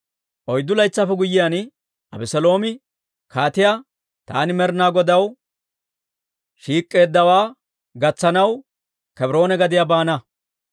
Oyddu laytsaappe guyyiyaan, Abeseeloomi kaatiyaa, «Taani Med'inaa Godaw shiik'k'eeddawaa gatsanaw Kebroone gadiyaa baana.